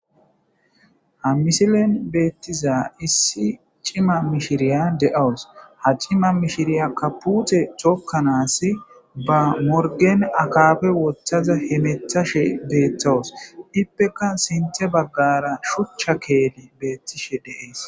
Ha missilen bethizay Issi cimma mishirayya de'awus ha cimma mishiraykka putte thokanasi ba morgen akkapa wothaza hethashe bethawus ippekka sintha bagara shucha keeththi bethishe dess.